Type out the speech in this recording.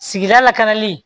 Sigida lakanali